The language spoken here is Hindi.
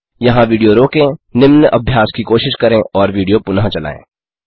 यहाँ विडियो रोकें निम्न अभ्यास की कोशिश करें और विडियो पुनः चलायें